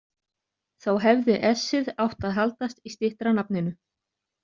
Þá hefði s-ið átt að haldast í styttra nafninu.